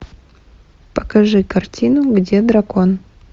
покажи картину где дракон